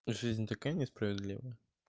жизнь такая несправедливая